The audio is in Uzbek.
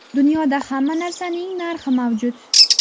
Dunyoda hamma narsaning narxi mavjud.